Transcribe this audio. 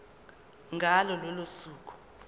ngalo lolo suku